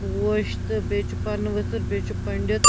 .پوش تہٕ بیٚیہِ چُھ پنہٕ ؤتھٕربیٚیہِ چُھ پٔنڈِت